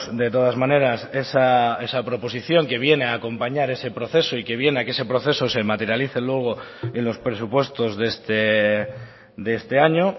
de todas maneras esa proposición que viene a acompañar ese proceso y que viene a que ese proceso se materialice luego en los presupuestos de este año